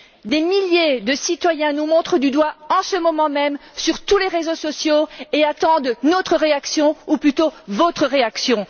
Des milliers de citoyens nous montrent du doigt en ce moment même sur tous les réseaux sociaux et attendent notre réaction ou plutôt votre réaction.